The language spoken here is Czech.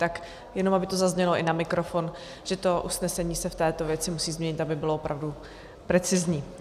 Tak jenom aby to zaznělo i na mikrofon, že to usnesení se v této věci musí změnit, aby bylo opravdu precizní.